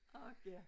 Ork ja